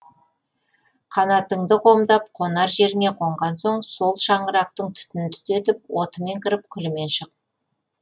қанатыңды қомдап қонар жеріңе қонған соң сол шаңырақтың түтінін түтетіп отымен кіріп күлімен шық